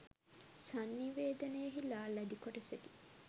සංනිවේදනයෙහිලා ලැදි කොටසකි.